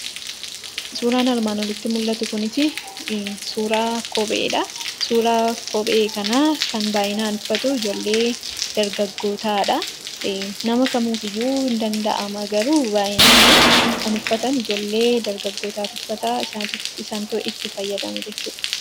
Suuraan armaan olitti mul'atu kunis, suuraa kopheedhaa. Suuraa kophee kana kan baayyinaan uffatu ijoollee dargagootaa dhaa. Nama kamiifiyyuu hin danda'ama, garuu baayyinaan kan uffatan ijoollee dargagootatu uffataa , isaantu itti fayyadama jechuudha.